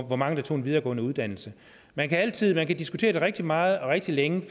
hvor mange der tog en videregående uddannelse man kan man kan diskutere det rigtig meget og rigtig længe